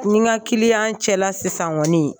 N ni n ka kiliyan cɛ la sisan kɔni.